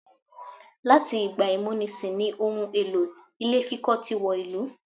Láti ìgbà ìmúnisì ní ohun èlò ilé kíkọ́ tí wọ ìlú.